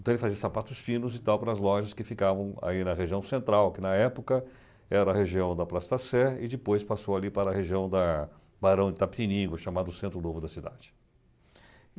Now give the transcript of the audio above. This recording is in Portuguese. Então ele fazia sapatos finos e tal para as lojas que ficavam aí na região central, que na época era a região da Praça da Sé depois passou ali para a região da Barão de Itapeningo, chamado Centro Novo da Cidade.